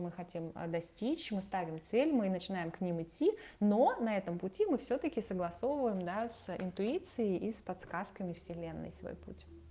мы хотим достичь мы ставим цель мы начинаем к ним идти но на этом пути мы всё-таки согласовываем да с интуицией и с подсказками вселенной свой путь